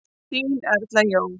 Þín Erla Jó.